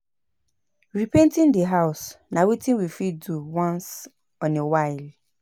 No leave naked wire for house comot to avoid fire